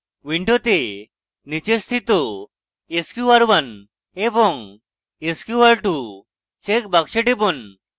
window নীচে স্থিত sqr1 এবং sqr2 check বাক্সে টিপুন